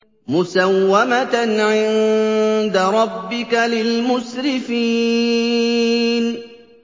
مُّسَوَّمَةً عِندَ رَبِّكَ لِلْمُسْرِفِينَ